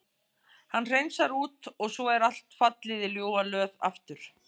Hann hreinsar út og svo er allt fallið í ljúfa löð aftur.